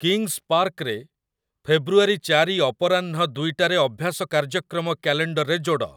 କିଂସ୍ ପାର୍କରେ ଫେବୃଆରୀ ଚାରି ଅପରାହ୍ନ ଦୁଇଟାରେ ଅଭ୍ୟାସ କାର୍ଯ୍ୟକ୍ରମ କ୍ୟାଲେଣ୍ଡରରେ ଯୋଡ।